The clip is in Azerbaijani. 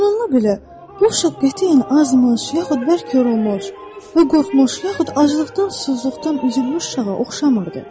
Bununla belə, bu uşaq qətiyyən azmış, yaxud bərk yorulmuş, və qorxmuş, yaxud aclıqdan susuzluqdan üzülmüş çocuğa oxşamırdı.